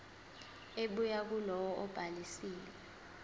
ebuya kulowo obhalisile